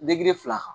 fila kan